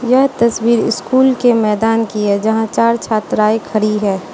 यह तस्वीर स्कूल के मैदान कि है जहां चार छात्राएं खड़ी है।